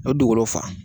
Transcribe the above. O dugukolo fa